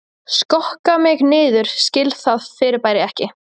Skokka mig niður skil það fyrirbæri ekki